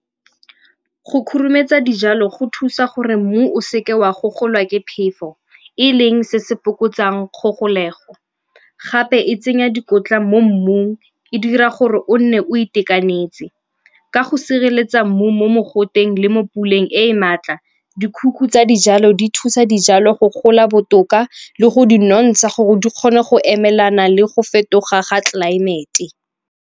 Go khurumetsa dijalo go thusa gore mmu o seke wa go golwa ke phefo e leng se se fokotsang kgogolego. Gape e tsenya dikotla mo mmung, e dira gore o nne o itekanetse ka go sireletsa mmu mo mogoteng le mo puleng e maatla. Di tsa dijalo di thusa dijalo go gola botoka le go di nontsha gore di kgone go emelana le go fetoga ga tlelaemete.